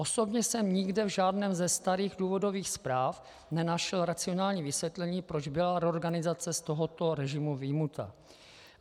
Osobně jsem nikde v žádné ze starých důvodových zpráv nenašel racionální vysvětlení, proč byla reorganizace z tohoto režimu vyjmuta.